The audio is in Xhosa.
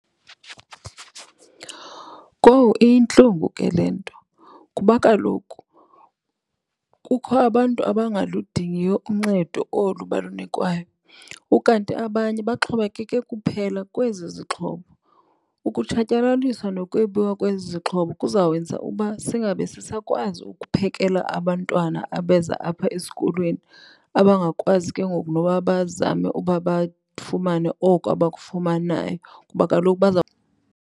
Kowu, iyintlungu ke le nto kuba kaloku kukho abantu abangaludingiyo uncedo olu balunikwayo, ukanti abanye baxhomekeke kuphela kwezi zixhobo. Ukutshatyaliswa nokwebiwa kwezi zixhobo kuza wenza uba singabe sisakwazi ukuphekela abantwana abeza apha esikolweni abangakwazi ke ngoku noba bazame uba bafumane oko abakufumanayo kuba kaloku .